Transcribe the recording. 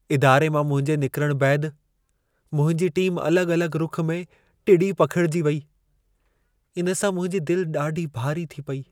इदारे मां मुंहिंजे निकिरण बैदि, मुंहिंजी टीमु अलॻि-अलॻि रुख़ में टिड़ी पखिड़िजी वेई, इन सां मुंहिंजी दिलि ॾाढी भारी थी पेई।